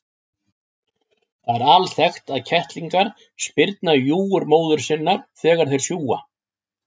Það er alþekkt að kettlingar spyrna í júgur móður sinnar þegar þeir sjúga.